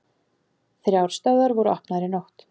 Þrjár stöðvar voru opnaðar í nótt